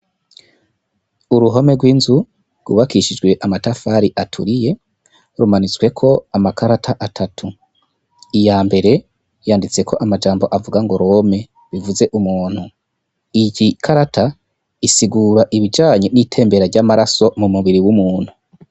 Uruhome rw'inzu rwubakishijwe amatafari aturiye, rumanitsweko amakarata atatu, iyambere yanditseko amajambo avuga ngo rome bivuze umuntu, iyi karata isigura ibijanye n'itembera ry'amaraso mu mubiri w'umuntu.